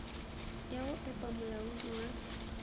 ya go epa molaodi wa